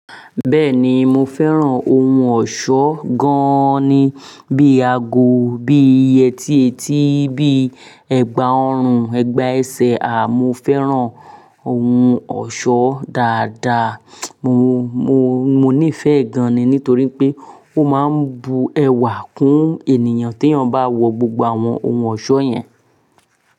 Bẹ́ẹ̀ni, mo fẹ́ràn ohun ọ̀ṣọ́ gan-an ni, bí i ago, bí i yẹtí etí, bí i ẹ̀gbà ọrùn, ẹ̀gbà ẹsẹ̀, àmọ́ fẹ́ràn ohun ọ̀ṣọ́ dáadáa. Mo, mo, mo nífẹ̀ẹ́ gan-an ni nítorí pé ó máa ń bu ẹwà kún ènìyàn tí ènìyàn bá wọ gbogbo àwọn ohun ọ̀ṣọ́ yẹn.